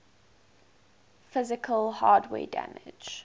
physical hardware damage